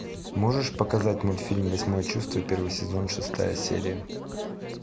можешь показать мультфильм восьмое чувство первый сезон шестая серия